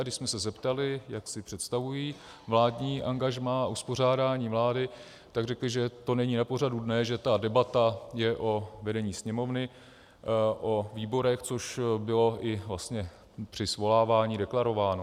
A když jsme se zeptali, jak si představují vládní angažmá a uspořádání vlády, tak řekli, že to není na pořadu dne, že ta debata je o vedení Sněmovny, o výborech, což bylo i vlastně při svolávání deklarováno.